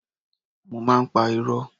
Mo má ń pa irọ́.